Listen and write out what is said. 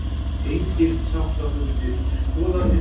Engir sáttafundir boðaðir